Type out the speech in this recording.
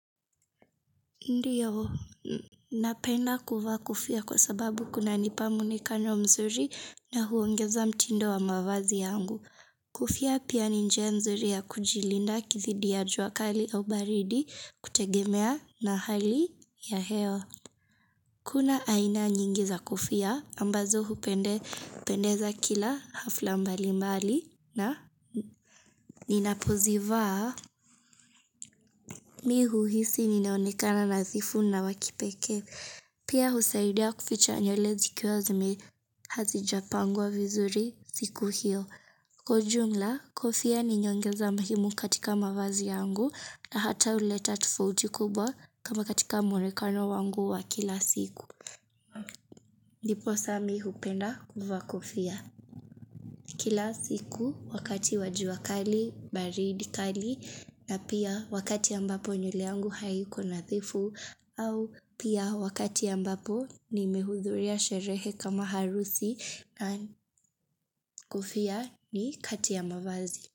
Ndiyo, napenda kuvaa kofia kwa sababu kunanipa muonekano mzuri na huongeza mtindo wa mavazi yangu. Kofia pia ni njia nzuri ya kujilinda dhidi ya jua kali ya ubaridi kutegemea na hali ya hewa Kuna aina nyingi za kofia, ambazo hupendeza kila hafla mbali mbali na ninapozivaa. Mimi huhisi ninaonekana nadhifu na wa kipekee Pia husaidia kuficha nywele zikiwa hazijapangwa vizuri siku hiyo. Kwa jumla, kofia ni nyongeza muhimu katika mavazi yangu na hata huleta tofauti kubwa kama katika muonekano wangu wa kila siku. Ndiposa mimi hupenda kuvaa kofia. Kila siku wakati wa jua kali, baridi kali na pia wakati ambapo nywele yangu haiko nadhifu au pia wakati ambapo nimehudhuria sherehe kama harusi na kofia ni kati ya mavazi.